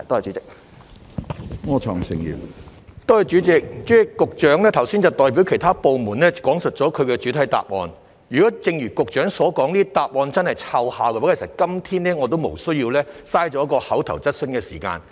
主席，局長剛才代表其他部門講述了其主體答覆，如果正如局長所說，這類答覆真的奏效，其實今天我也無須浪費一項口頭質詢的時間。